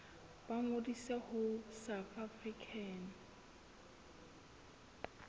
ba ngodise ho south african